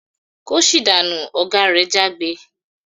"Kóṣì dànú!" Oga re jágbe.